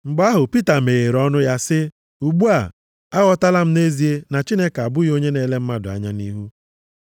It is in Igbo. Mgbe ahụ Pita meghere ọnụ ya sị, “Ugbu a, aghọtala m nʼezie na Chineke abụghị onye na-ele mmadụ anya nʼihu.